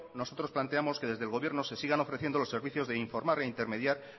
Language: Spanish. nosotros planteamos que desde el gobierno se sigan ofreciendo los servicios de informar e intermediar